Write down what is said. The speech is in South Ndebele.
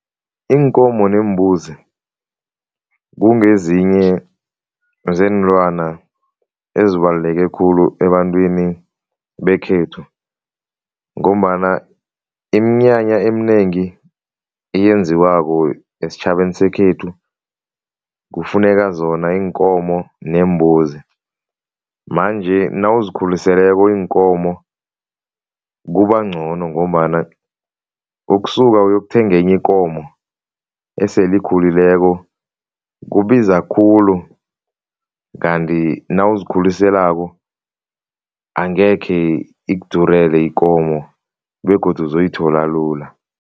Iinkomo neembuzi kungezinye zeenlwana ezibaluleke khulu ebantwini bekhethu ngombana iminyanya eminengi eyenziwako esitjhabeni sekhethu, kufuneka zona iinkomo neembuzi manje nawuzikhuliseleko iinkomo kubangcono ngombana ukusuka uyokuthenga enye ikomo esele ikhulileko kubiza khulu, kanti nawuzikhuliselako angekhe ikudurele ikomo begodu uzoyithola lula.